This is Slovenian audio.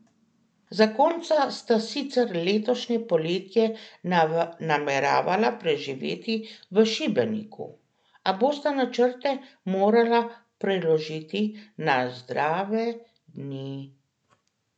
Zakonca sta sicer letošnje poletje nameravala preživeti v Šibeniku, a bosta načrte morala preložiti na zdrave dni...